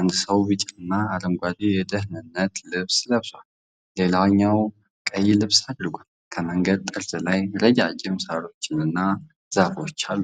አንድ ሰው ቢጫና አረንጓዴ የደህንነት ልብስ ለብሷል፤ ሌላው ቀይ ልብስ አድርጓል። ከመንገዱ ጠርዝ ላይ ረጃጅም ሣሮችና ዛፎች አሉ።